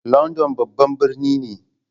London babban birni ne.